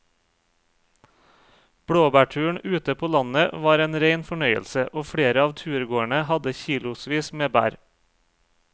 Blåbærturen ute på landet var en rein fornøyelse og flere av turgåerene hadde kilosvis med bær.